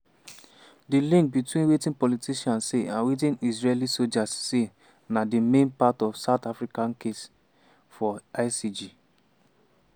di link between wetin politicians say and wetin israeli soldiers say na di main part of south africa case for icj.